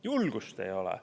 Julgust ei ole.